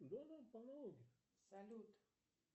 салют